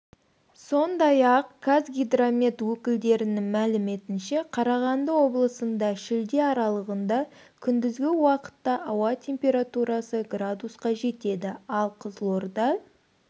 сондай-ақ қазгидромет өкілдерінің мәліметінше қарағанды облысында шілде аралығында күндізгі уақытта ауа температурасы градусқа жетеді ал қызылорда